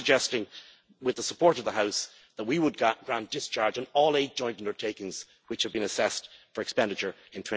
So, I am suggesting, with the support of the House, that we would grant discharge on all eight joint undertakings which have been assessed for expenditure